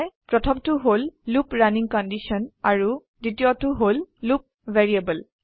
প্ৰথমটো হল loop running condition আৰু দ্বিতীয়টো হল লুপ ভেৰিয়েবল